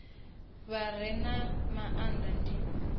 vha re na maanda ndi